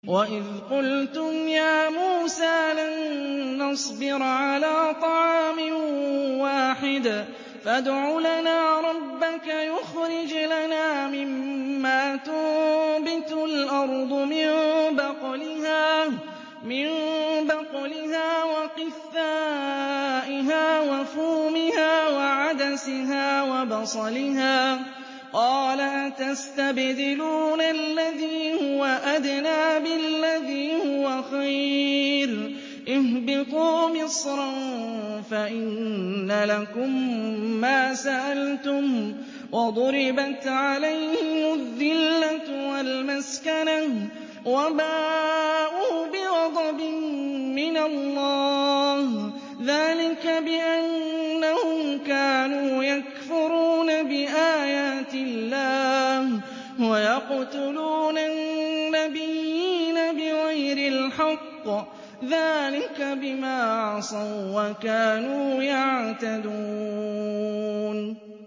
وَإِذْ قُلْتُمْ يَا مُوسَىٰ لَن نَّصْبِرَ عَلَىٰ طَعَامٍ وَاحِدٍ فَادْعُ لَنَا رَبَّكَ يُخْرِجْ لَنَا مِمَّا تُنبِتُ الْأَرْضُ مِن بَقْلِهَا وَقِثَّائِهَا وَفُومِهَا وَعَدَسِهَا وَبَصَلِهَا ۖ قَالَ أَتَسْتَبْدِلُونَ الَّذِي هُوَ أَدْنَىٰ بِالَّذِي هُوَ خَيْرٌ ۚ اهْبِطُوا مِصْرًا فَإِنَّ لَكُم مَّا سَأَلْتُمْ ۗ وَضُرِبَتْ عَلَيْهِمُ الذِّلَّةُ وَالْمَسْكَنَةُ وَبَاءُوا بِغَضَبٍ مِّنَ اللَّهِ ۗ ذَٰلِكَ بِأَنَّهُمْ كَانُوا يَكْفُرُونَ بِآيَاتِ اللَّهِ وَيَقْتُلُونَ النَّبِيِّينَ بِغَيْرِ الْحَقِّ ۗ ذَٰلِكَ بِمَا عَصَوا وَّكَانُوا يَعْتَدُونَ